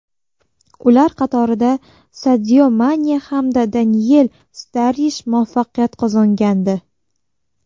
Ular qatorida Sadio Mane hamda Daniel Starrij muvaffaqiyat qozongandi.